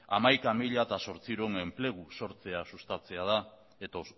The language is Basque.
hamaika mila zortziehun enplegu sortzea